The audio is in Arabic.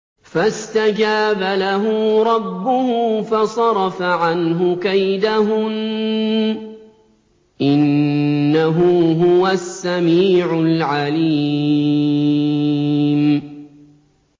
فَاسْتَجَابَ لَهُ رَبُّهُ فَصَرَفَ عَنْهُ كَيْدَهُنَّ ۚ إِنَّهُ هُوَ السَّمِيعُ الْعَلِيمُ